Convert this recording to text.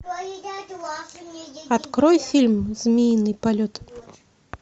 открой фильм змеиный полет